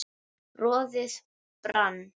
roðið brann